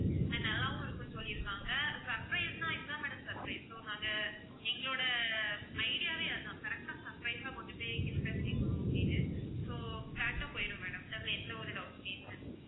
and நல்லாவும் இருக்கும்னு சொல்லிருக்காங்க surprise னா இது தான் madam surprise நாங்க எங்களோட idea வே அதுதான் correct ஆ surprise ஆ கொண்டு போய் gift அ சேர்க்கணும் அப்படின்னு so correct ஆ போயிடும் madam அதுல எந்த ஒரு doubt மே இல்ல